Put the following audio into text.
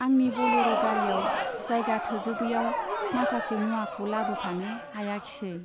आंनि बलेर' गारियाव जायगा थोजोबैयाव माखासे मुवाखौ लाबोफानो हायाखिसै।